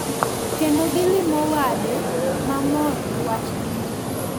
Kendo gilimo wade mamor gi wachgi ni.